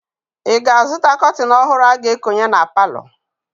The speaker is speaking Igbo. Ị ga-azụta kọtịn ọhụrụ a ga-ekonye na palọ?